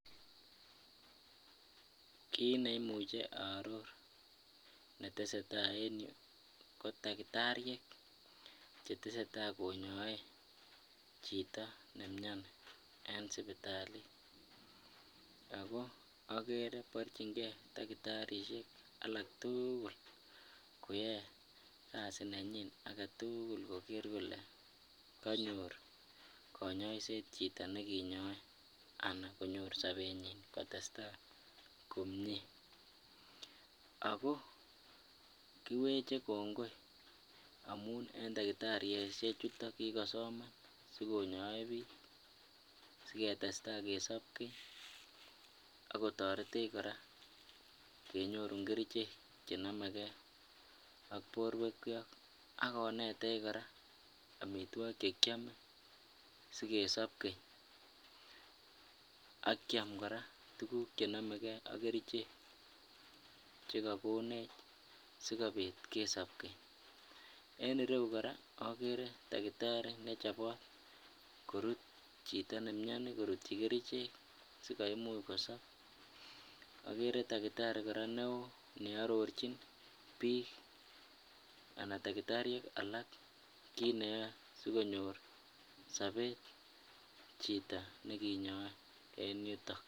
Kiit neimuche aror netesetaa en yuu ko takitariek cheteseta konyoe chito nemioni en sipitali ak ko okere borchinge takitariek alak tukul koyoe kasi nenyin aketukul koker kolee konyor konyoiset chito nekinyoe anan konyor sobenyin kotesta komnye ak ko kiweche kongoi amun en takitarishe chuton kikosoman asikonyoe biik, siketesta kesob keny ak kotoretech kora kenyorun kerichek chenomekee ak borwekyok ak konetech kora amitwokik chekiome sikesop keny ak kiam kora tukuk chenomeke ak kerichek chekokonech sikobit kesob keny, en ireyu kora okere takitari nechobot korut chito nemioni korutyi kerichek sikomuch kosob, okere takitari kora neoo ne ororchin biik Alan takitariek alak kiit neyoe sikonyor sobet chito nekinyoe en yuton.